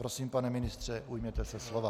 Prosím, pane ministře, ujměte se slova.